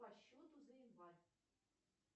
по счету за январь